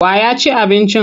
Wa ya ci abincin?